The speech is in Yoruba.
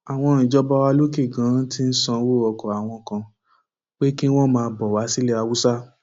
àwọn ìjọba wa lókè ganan ti sanwó ọkọ àwọn kan pé kí wọn máa bọ wá sílẹ haúsá